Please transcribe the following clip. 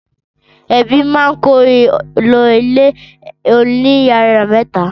Ẹbí máa kó lọ ilé oníyàrá mẹ́ta.